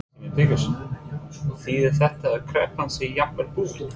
Símon Birgisson: Þýðir þetta að kreppan sé jafnvel búin?